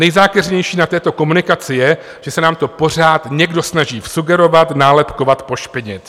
Nejzákeřnější na této komunikaci je, že se nám to pořád někdo snaží vsugerovat, nálepkovat, pošpinit.